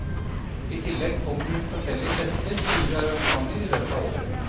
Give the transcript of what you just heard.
I tillegg kommer forskjellige fester, turer og arrangementer i løpet av året.